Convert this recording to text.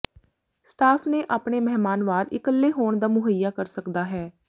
staff ਨੇ ਆਪਣੇ ਮਹਿਮਾਨ ਵਾਰ ਇਕੱਲੇ ਹੋਣ ਦਾ ਮੁਹੱਈਆ ਕਰ ਸਕਦਾ ਹੈ